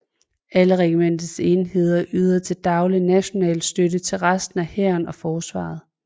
Alle regimentets enheder yder til daglig national støtte til resten af Hæren og Forsvaret